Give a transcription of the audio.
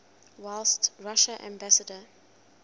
whilst russia's ambassador